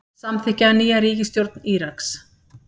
Samþykkja nýja ríkisstjórn Íraks